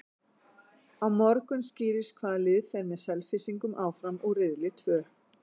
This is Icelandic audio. Á morgun skýrist hvaða lið fer með Selfyssingum áfram úr riðli tvö.